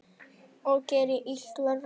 Og gerir illt verra.